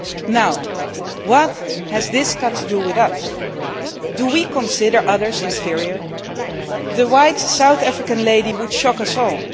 class. Now, what has this got to do with us? Do we consider others inferior? The white South African lady would shock